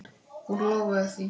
Hún lofaði því.